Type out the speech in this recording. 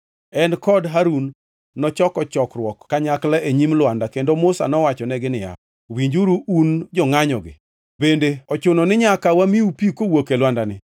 En kod Harun nochoko chokruok kanyakla e nyim lwanda kendo Musa nowachonegi niya, “Winjuru, un jongʼanyogi, bende ochuno ni nyaka wamiu pi kowuok e lwandani?”